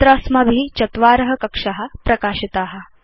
अत्र अस्माभि चत्वार कक्षा प्रकाशिता